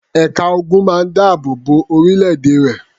Ẹ̀ka ogun máa ń dáàbò bo orílẹ̀-èdè rẹ̀.